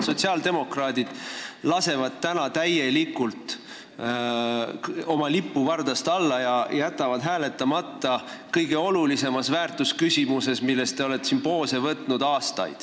Sotsiaaldemokraadid lasevad täna täielikult oma lipu vardast alla, jättes hääletamata kõige olulisemas väärtusküsimuses, milles te olete siin aastaid poose võtnud.